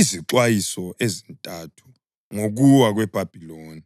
Izixwayiso Ezintathu Ngokuwa KweBhabhiloni